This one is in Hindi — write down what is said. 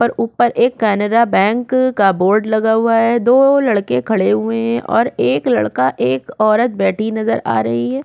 ऊपर एक कनारा बैंक का बोर्ड लगा हुआ है दो लड़के खड़े हुए है और एक लड़का एक औरत बैठी नज़र आ रही है।